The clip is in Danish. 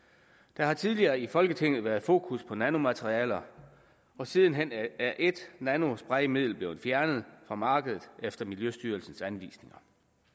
der har tidligere i folketinget været fokus på nanomaterialer og siden hen er et nanospraymiddel blevet fjernet fra markedet efter miljøstyrelsens anvisninger